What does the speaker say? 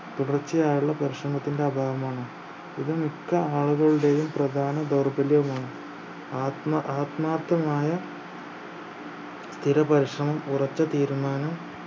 തുടർച്ചയായുള്ള പരിശ്രമത്തിന്റെ അഭാവമാണ് ഇത് മിക്ക ആളുകളുടെയും പ്രധാന ദൗർബല്യവുമാണ് ആത്മ ആത്മാർത്ഥമായ സ്ഥിരപരിശ്രമം ഉറച്ച തീരുമാനം